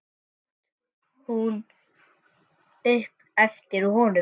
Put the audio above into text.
át hún upp eftir honum.